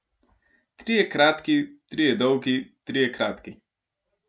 Trije kratki, trije dolgi, trije kratki.